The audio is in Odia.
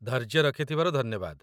ଧୈର୍ଯ୍ୟ ରଖିଥିବାରୁ ଧନ୍ୟବାଦ ।